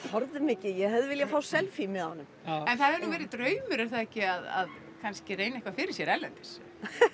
þorðum ekki ég hefði viljað fá selfie með honum en það hefði nú verið draumur er það ekki að kannski reyna eitthvað fyrir sér erlendis